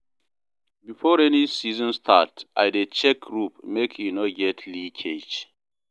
Before rainy season start, I dey check roof make e no get leakage.